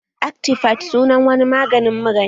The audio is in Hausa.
Actifide sunan wani magani mura ne